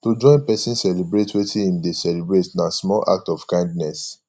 to join persin celebrate wetin im de celebrate na small act of kindness